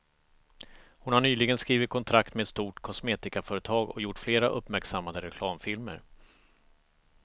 Hon har nyligen skrivit kontrakt med ett stort kosmetikaföretag och gjort flera uppmärksammade reklamfilmer.